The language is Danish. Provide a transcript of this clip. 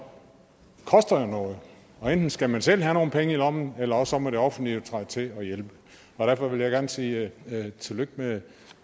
koster jo noget og enten skal man selv have nogle penge i lommen eller også må det offentlige træde til og hjælpe og derfor vil jeg gerne sige tillykke